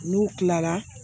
N'u kilara